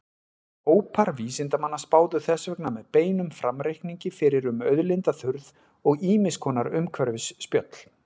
Hópar vísindamanna spáðu þess vegna með beinum framreikningi fyrir um auðlindaþurrð og ýmiss konar umhverfisspjöll.